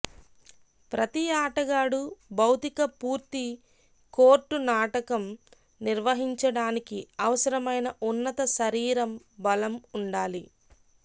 ప్రతి ఆటగాడు భౌతిక పూర్తి కోర్టు నాటకం నిర్వహించడానికి అవసరమైన ఉన్నత శరీరం బలం ఉండాలి